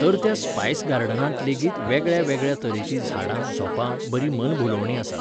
तर त्या स्पायस गार्डनांत लेगीत वेगळ्या वेगळ्या तरेचीं झाडां झोंपां, बरीं मनभुलोवणीं आसात.